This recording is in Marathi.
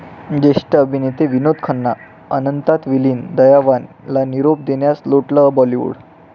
ज्येष्ठ अभिनेते विनोद खन्ना अनंतात विलीन, 'दयावान'ला निरोप देण्यास लोटलं बाॅलिवडू